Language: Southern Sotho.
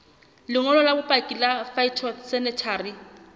lengolo la bopaki la phytosanitary